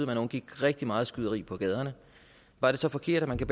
man undgik rigtig meget skyderi på gaderne var det så forkert at